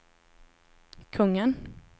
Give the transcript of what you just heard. kungen